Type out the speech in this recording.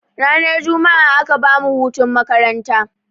Ranar jumma'a aka bamu hutun makaranta.